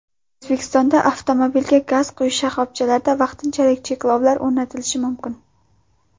O‘zbekistonda avtomobilga gaz quyish shoxobchalarida vaqtinchalik cheklovlar o‘rnatilishi mumkin.